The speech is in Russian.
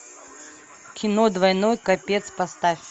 кино двойной капец поставь